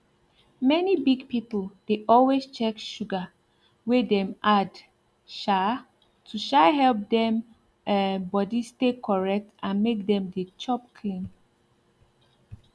many big people dey always check sugar wey dem add um to um help dem um body stay correct and make dem dey chop clean